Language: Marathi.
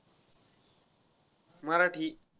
मराठी.